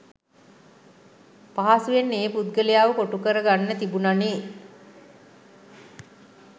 පහසුවෙන් ඒ පුද්ගලයාව කොටු කරගන්න තිබුණානේ